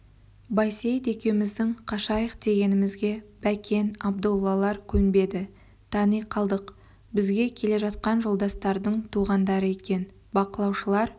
байсейіт екеуміздің қашайық дегенімізге бәкен абдоллалар көнбеді тани қалдық бізге келе жатқан жолдастардың туғандары екен бақылаушылар